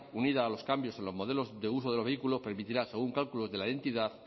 unida a los cambios en los modelos de uso de los vehículos permitirá según cálculos de la entidad